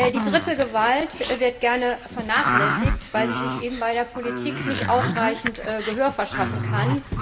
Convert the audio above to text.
Die dritte Gewalt wird gern vernachlässigt, weil sie sich eben bei der Politik nicht ausreichend Gehör verschaffen kann.